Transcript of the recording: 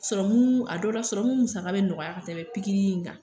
a dɔw la musaka be nɔgɔya ka tɛmɛ pikiri in kan.